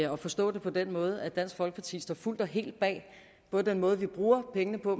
at forstå det på den måde at dansk folkeparti står fuldt og helt bag både den måde vi bruger pengene på